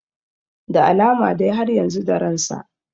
Da alama dai har yanzu da ransa